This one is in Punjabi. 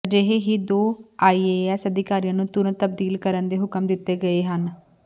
ਅਜਿਹੇ ਹੀ ਦੋ ਆਈਏਐਸ ਅਧਿਕਾਰੀਆਂ ਨੂੰ ਤੁਰੰਤ ਤਬਦੀਲ ਕਰਨ ਦੇ ਹੁਕਮ ਦਿੱਤੇ ਗਏ ਹਨ